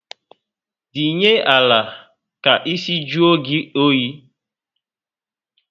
Dinye ala ka ísì juo gị oyi